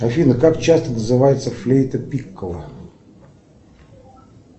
афина как часто называется флейта пикколо